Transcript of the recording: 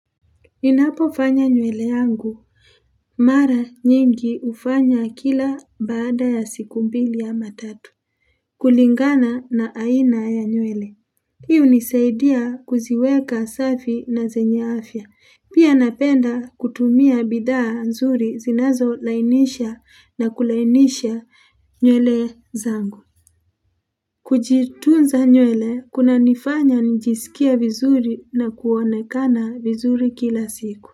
Ninapofanya nywele yangu, mara nyingi hufanya kila baada ya siku mbili ama tatu. Kulingana na aina ya nywele. Hii hunisaidia kuziweka safi na zenye afya. Pia napenda kutumia bidhaa nzuri zinazolainisha na kulainisha nywele zangu. Kujitunza nywele, kunanifanya nijisikie vizuri na kuonekana vizuri kila siku.